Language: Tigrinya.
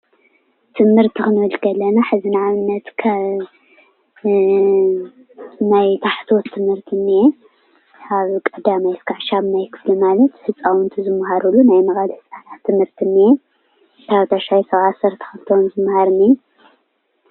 ትምህርቲ ክንብል ከለና ሕዚ ንኣብነት ከም ናይ ታሕተዎት ትምህርቲ እንሄ ካብ 1ይ ክሳብ 8ይ ክፍሊ ማለት ህፃውንቲ ዝማሃርሉ ናይ መዋእለ ህፃናት ትምህርቲ እንሄ፣ ካብ 9ይ ክሳብ 12 ክፍሊ መምሃር እንሄ፡፡